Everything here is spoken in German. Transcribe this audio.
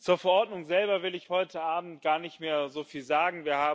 Zur Verordnung selber will ich heute Abend gar nicht mehr so viel sagen.